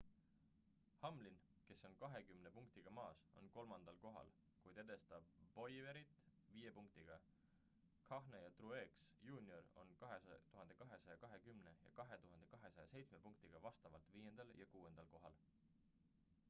hamlin kes on kahekümne punktiga maas on kolmandal kohal kuid edestab bowyerit viie punktiga kahne ja truex jr on 2220 ja 2207 punktiga vastavalt viiendal ja kuuendal kohal